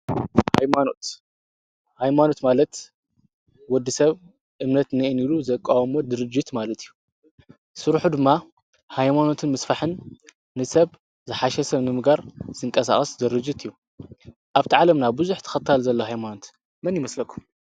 ኃይማኖት ማለት ወዲ ሰብ እምነት ንኤን ኢሉ ዘቃዋሞት ድርጅት ማለት እዩ ሥሩሑ ድማ ኃይማኖትን ምስፋሕን ንሰብ ዝሓሸ ሰብ ንምጋር ዝንቀሳቐስ ዘርጅት እዩ ኣብቲ ዓለምና ብዙኅ ተኸታል ዘለ ሃይማኖት መን ይመስለኩ?